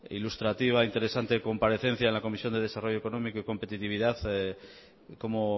ilustrativa interesante comparecencia en la comisión de desarrollo económico y competitividad como